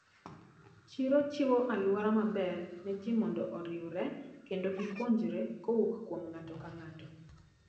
Chiro chiwo aluora maber ne ji mondo oriwre kendo gipuonjre kowuok kuom ng`ato kang`ato.